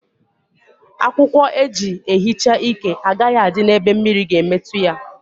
Akwụkwọ eji ehicha íke agaghi adị n'ebe mmiri ga emetụta ya